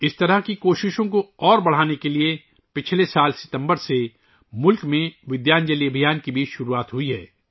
اس طرح کی کوششوں کو مزید بڑھانے کے لئے گزشتہ سال ستمبر سے ملک میں ودیانجلی ابھیان بھی شروع کیا گیا ہے